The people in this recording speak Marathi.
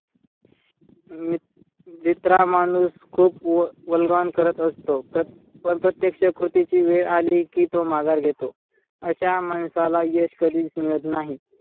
मी भित्रा माणूस खूप करत असतो. पण प्रत्यक्ष कृतीची वेळ अली कि तो माघार घेतो. अशा माणसाला यश कधीच मिळत नाही.